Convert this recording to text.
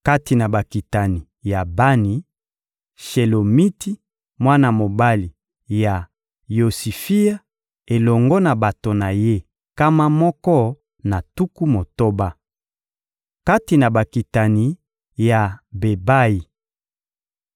Kati na bakitani ya Bani: Shelomiti, mwana mobali ya Yosifia, elongo na bato na ye nkama moko na tuku motoba.